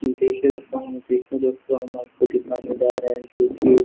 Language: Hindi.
देखिए दोस्तों देखिए दोस्तों हम आपको दिखाने जा रहे हैं जो कि --